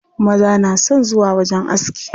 Maza na son zuwa wajen aski.